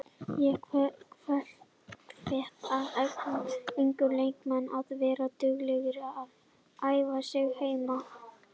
Ég hvet alla unga leikmenn að vera duglegir að æfa sig heima.